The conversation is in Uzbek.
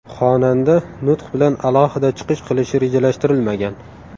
Xonanda nutq bilan alohida chiqish qilishi rejalashtirilmagan.